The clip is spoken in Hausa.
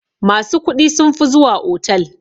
Masu kuɗi sunfi zuwa otal.